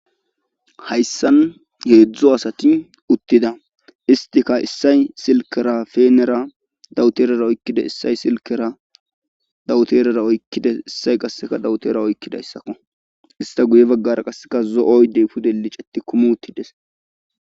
Hayssan heedzdzo asati uttida istika issay silkera feenera dawuterara oykkide issay silkera dawuterara oykkides issay qasseka dawutera oykkidayssakko ista guye baggara qasseka zo'oydey pude liceti kumi uttides